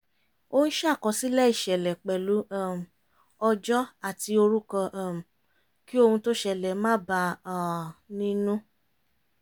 ó ń ṣàkọsílẹ̀ ìṣẹ̀lẹ̀ pẹ̀lú um ọjọ́ àti orúkọ um kí ohun tó ṣẹlẹ̀ má bà a nínú